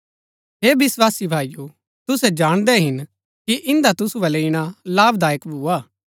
हे विस्वासी भाईओ तुसै जाणदै हिन कि इन्दा तुसु बल्लै ईणा लाभदायक भुआ